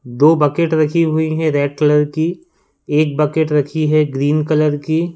दो बकेट रखी हुई हैं रेड कलर की एक बकेट रखी है ग्रीन कलर की।